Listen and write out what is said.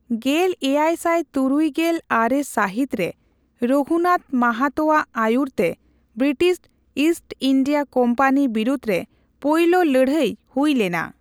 ᱜᱮᱞ ᱮᱭᱟᱭ ᱥᱟᱭ ᱛᱩᱨᱩᱭ ᱜᱮᱞ ᱟᱨᱮ ᱥᱟᱹᱦᱤᱛ ᱨᱮ ᱨᱚᱜᱷᱩᱱᱟᱛᱷ ᱢᱟᱦᱟᱛᱳᱣᱟᱜ ᱟᱹᱭᱩᱨᱛᱮ ᱵᱨᱤᱴᱤᱥ ᱤᱥᱴ ᱤᱱᱰᱤᱭᱟ ᱠᱳᱢᱯᱟᱱᱤ ᱵᱤᱨᱩᱫᱷ ᱨᱮ ᱯᱳᱭᱞᱳ ᱞᱟᱹᱲᱦᱟᱹᱭ ᱦᱩᱭ ᱞᱮᱱᱟ ᱾